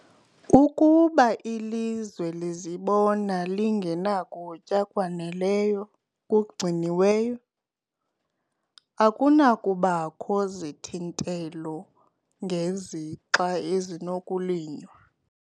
Ukuba ilizwe lizibona lingenakutya kwaneleyo kugciniweyo, akunakubakho zithintelo ngezixa ezinokulinywa.